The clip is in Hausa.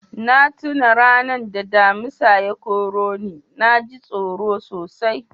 Na tuna ranan da Damisa ya kore ni. Na ji tsoro sosai.